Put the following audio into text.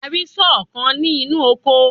A rí sọ́ọ̀ kan ní inú oko.